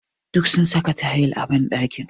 Duk sun saka tayils a ɓanɗakin.